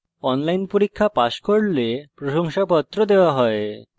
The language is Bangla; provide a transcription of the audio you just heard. online পরীক্ষা pass করলে প্রশংসাপত্র দেওয়া হয়